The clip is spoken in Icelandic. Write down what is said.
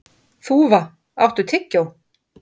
Þúfa, áttu tyggjó?